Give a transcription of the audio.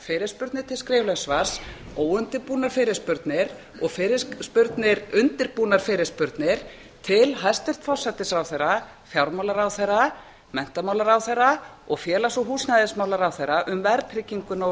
fyrirspurnir til skriflegs svars óundirbúnar fyrirspurnir og undirbúnar fyrirspurnir til hæstvirts forsætisráðherra fjármálaráðherra menntamálaráðherra og félags og húsnæðismálaráðherra um verðtrygginguna og